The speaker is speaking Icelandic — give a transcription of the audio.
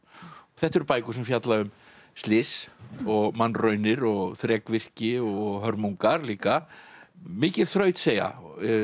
þetta eru bækur sem fjalla um slys og mannraunir og þrekvirki og hörmungar líka mikil þrautseigja